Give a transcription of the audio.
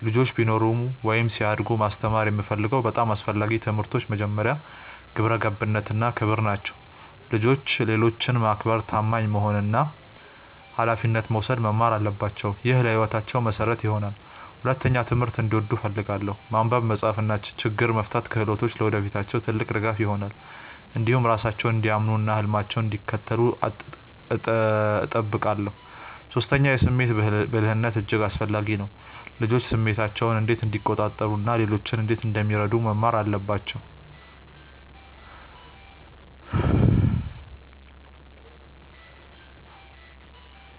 ልጆች ቢኖሩኝ ወይም ሲያድጉ ማስተማር የምፈልገው በጣም አስፈላጊ ትምህርቶች መጀመሪያ፣ ግብረ ገብነት እና ክብር ናቸው። ልጆች ሌሎችን ማክበር፣ ታማኝ መሆን እና ኃላፊነት መውሰድ መማር አለባቸው። ይህ ለሕይወታቸው መሠረት ይሆናል። ሁለተኛ፣ ትምህርትን እንዲወዱ እፈልጋለሁ። ማንበብ፣ መጻፍ እና ችግኝ መፍታት ክህሎቶች ለወደፊታቸው ትልቅ ድጋፍ ይሆናሉ። እንዲሁም ራሳቸውን እንዲያምኑ እና ህልማቸውን እንዲከተሉ እጠብቃለሁ። ሶስተኛ፣ የስሜት ብልህነት እጅግ አስፈላጊ ነው። ልጆች ስሜታቸውን እንዴት እንደሚቆጣጠሩ እና ሌሎችን እንዴት እንደሚረዱ መማር አለባቸው